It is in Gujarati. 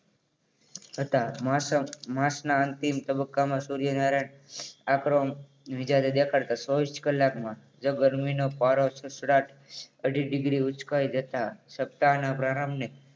હતા મોસમ માસના અંતિમ તબક્કામાં સૂર્યનારાયણ આંકડો વીજારે દેખાડતા ચોવીસ કલાકમાં જ ગરમી નો પારો સડસડાટ અઢી degree ઊંચકાઈ જતા સત્તાના પ્રારંભે